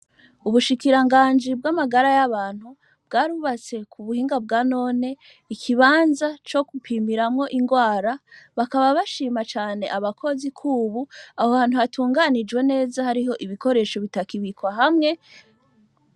Ubushikiranganji bw’amagara y’abantu ,bwarubatse kubuhinga bwa none, ikibanza co gupimiramwo ingwara, hakaba bashima cane abakozi kubu aho hantu hatunganije neza hariho ibikoresho bitakibikwa hamwe.